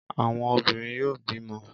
Àwọn obìnrin yóò bímọ.